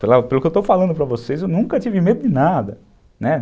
Pelo que eu estou falando para vocês, eu nunca tive medo de nada, né?